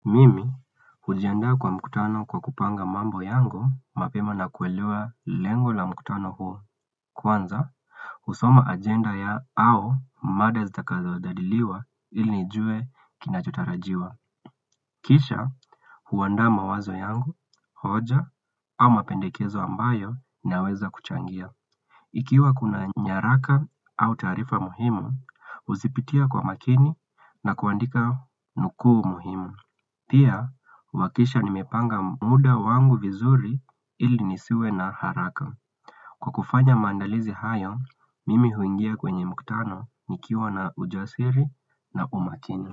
Mimi, ujianda kwa mkutano kwa kupanga mambo yangu, mapema na kuelewa lengo la mkutano huo. Kwanza, usoma agenda ya au mada zitakazo jadiliwa ilinijue kinachotarajiwa. Kisha, huwanda mawazo yangu, hoja, au mapendekezo ambayo naweza kuchangia. Ikiwa kuna nyaraka au tarifa muhimu, uzipitia kwa makini na kuandika nuku muhimu. Pia, huwakisha nimepanga muda wangu vizuri ili nisiwe na haraka Kwa kufanya mandalizi hayo, mimi huingia kwenye muktano nikiwa na ujasiri na umakini.